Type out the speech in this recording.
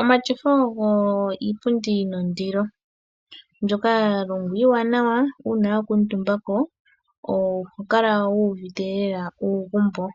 Omatyofa ogo iipundi yi na ondilo, mbyoka ya longwa iiwanawa nuuna wa kuutumba ko oho kala wu uvite lela uugumbo.